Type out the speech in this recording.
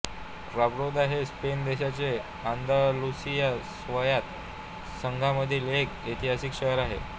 Cordoba हे Spain देशाच्या Andalusia स्वायत्त संघामधील एक ऐतिहासिक शहर आहे